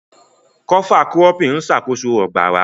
Kọfa kurópìn n ṣákóso ogbarà.